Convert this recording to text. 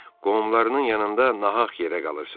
Qohumlarının yanında nahaq yerə qalırsan.